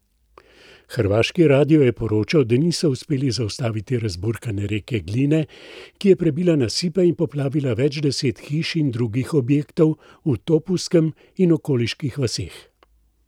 Hrvaški radio je poročal, da niso uspeli zaustaviti razburkane reke Gline, ki je prebila nasipe in poplavila več deset hiš in drugih objektov v Topuskem in okoliških vaseh.